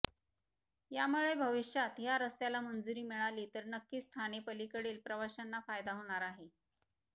यामुळे भविष्यात ह्या रस्त्याला मंजुरी मिळाली तर नक्कीच ठाणे पलीकडील प्रवाश्यांना फायदा होणार आहे